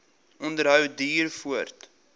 onderhou duur voort